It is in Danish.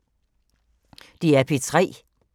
DR P3